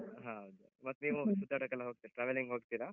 ಹೌದು. ಮತ್ತ್ ನೀವು ಸುತ್ತಾಡಕ್ಕೆಲ್ಲ ಹೋಗ್ತೀರ್, traveling ಹೋಗ್ತೀರ?